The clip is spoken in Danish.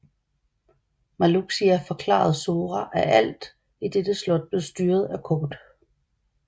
Marluxia forklarede Sora at alt i dette slot blev styret af kort